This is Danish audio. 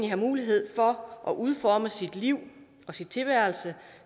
have mulighed for at udforme sit liv og sin tilværelse